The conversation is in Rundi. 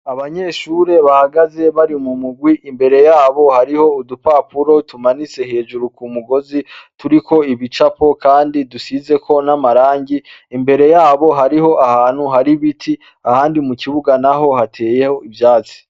Abanyeshure bahagaze bari mu murwi imbere yabo hariho udupapuro tumanitse hejuru ku mugozi turiko ibicapo kandi dusizeko n'amarangi imbere yabo hariho ahantu hari ibiti ahandi mu kibuga naho hateyeho ivyatsi.